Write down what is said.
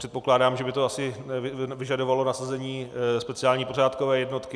Předpokládám, že by to asi vyžadovalo nasazení speciální pořádkové jednotky.